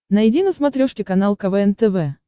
найди на смотрешке канал квн тв